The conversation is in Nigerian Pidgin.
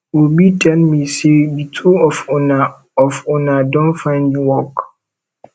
obi tell me say the two of una don of una don find work